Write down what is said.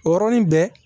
O yɔrɔnin bɛɛ